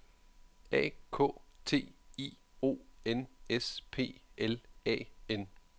A K T I O N S P L A N